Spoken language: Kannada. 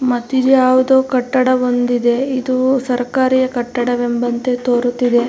ಮತ್ ಇದ್ ಯಾವ್ದೋ ಕಟ್ಟಡ ಒಂದ್ ಇದೆ ಇದು ಸರಕಾರಿಯ ಕಟ್ಟಡ ಎಂಬಂತೆ ತೋರುತ್ತಿದೆ.